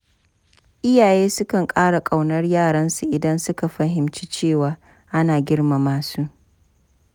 Iyaye sukan ƙara ƙaunar yaransu idan suka fahimci cewa ana girmama su.